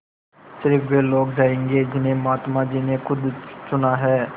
स़िर्फ वे लोग जायेंगे जिन्हें महात्मा जी ने खुद चुना है